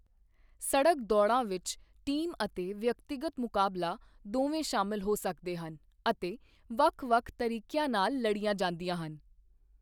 ਸੜਕ ਦੌੜਾਂ ਵਿੱਚ ਟੀਮ ਅਤੇ ਵਿਅਕਤੀਗਤ ਮੁਕਾਬਲਾ ਦੋਵੇਂ ਸ਼ਾਮਲ ਹੋ ਸਕਦੇ ਹਨ ਅਤੇ ਵੱਖ ਵੱਖ ਤਰੀਕਿਆਂ ਨਾਲ ਲੜੀਆਂ ਜਾਂਦੀਆਂ ਹਨ।